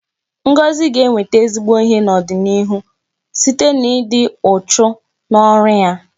Ngozi ga-enweta ezigbo ihe n'ọdịnịihu site n'ịdị uchu n'ọrụ ya